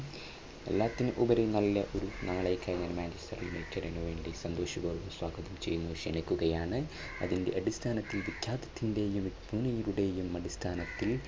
എല്ലാത്തിനും ഉപരി നല്ല ഒരു നാളേക്ക് ആയി ഞാൻ മാഞ്ചസ്റ്റർ യുണൈറ്റഡ് നു വേണ്ടി സന്തോഷപൂർവ്വം സ്വാഗതം ചെയ്യുന്നു ക്ഷണിക്കുകയാണ് അതിൻറെ അടിസ്ഥാനത്തിൽ വിഖ്യാതത്തിന്റെയും അടിസ്ഥാനത്തിൽ